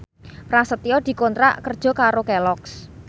Prasetyo dikontrak kerja karo Kelloggs